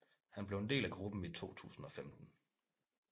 Han blev en del af gruppen i 2015